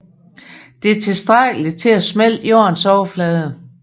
Det er tilstrækkeligt til at smelte Jordens overflade